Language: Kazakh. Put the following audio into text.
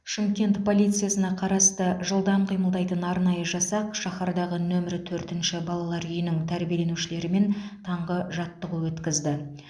шымкент полициясына қарасты жылдам қимылдайтын арнайы жасақ шаһардағы нөмірі төртінші балалар үйінің тәрбиеленушілерімен таңғы жаттығу өткізді